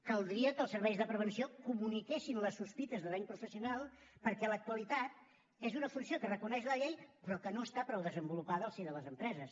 caldria que els serveis de prevenció comuniquessin les sospites de dany professional perquè a l’actualitat és una funció que reconeix la llei però que no està prou desenvolupada al si de les empreses